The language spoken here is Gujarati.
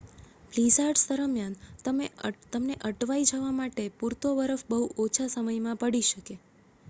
બ્લીઝાર્ડ્સ દરમિયાન તમને અટવાઈ જવા માટે પૂરતો બરફ બહુ ઓછા સમયમાં પડી શકે